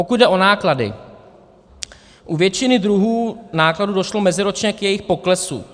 Pokud jde o náklady, u většiny druhů nákladů došlo meziročně k jejich poklesu.